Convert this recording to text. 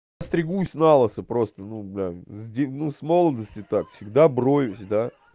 стригусь налысо просто ну бля ну с молодости так всегда броюсь да